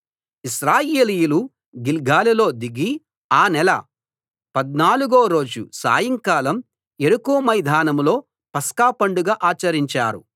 ఇశ్రాయేలీయులు గిల్గాలులో దిగి ఆ నెల పద్నాలుగో రోజు సాయంకాలం యెరికో మైదానంలో పస్కా పండగ ఆచరించారు